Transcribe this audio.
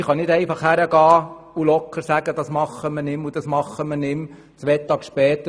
Wir können nicht einfach hingehen und sagen, dass wir dies oder das nicht mehr machen wollen.